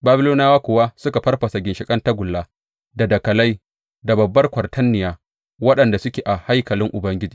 Babiloniyawa kuwa suka farfasa ginshiƙan tagulla, da dakalai, da babbar kwatarniya, waɗanda suke a haikalin Ubangiji.